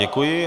Děkuji.